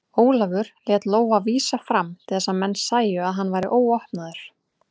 Ólafur lét lófa vísa fram til þess að menn sæju að hann var óvopnaður.